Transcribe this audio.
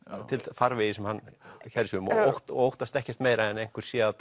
farvegi sem hann kærir sig um og óttast ekkert meira en að einhver sé að